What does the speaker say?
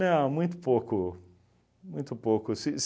muito pouco, muito pouco. Se